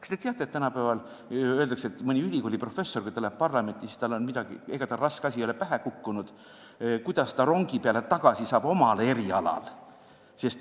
Kas te teate, et kui tänapäeval mõni ülikooliprofessor läheb parlamenti, siis küsitakse, et ega talle mingi raske asi ei ole pähe kukkunud ja kuidas ta omal erialal rongi peale tagasi saab.